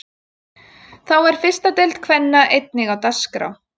Þá er fyrsta deild kvenna einnig á dagskrá.